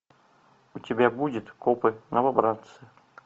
у тебя будет копы новобранцы